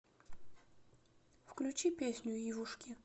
включи песню ивушки